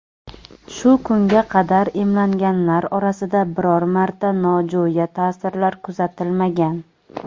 shu kunga qadar emlanganlar orasida biror marta nojo‘ya ta’sirlar kuzatilmagan.